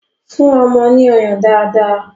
Fún ọmọ ní ọyàn dáadáa!